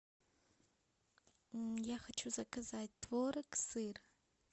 я хочу заказать творог сыр